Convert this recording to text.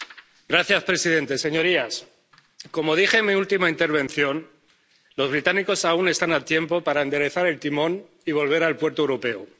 Señor presidente, señorías, como dije en mi última intervención, los británicos aún están a tiempo de enderezar el timón y volver al puerto europeo.